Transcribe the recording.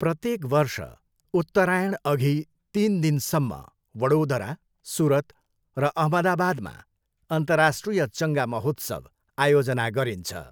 प्रत्येक वर्ष उत्तरायणअघि तिन दिनसम्म वडोदरा, सुरत र अहमदाबादमा अन्तर्राष्ट्रिय चङ्गा महोत्सव आयोजना गरिन्छ।